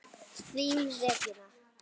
Þín Regína.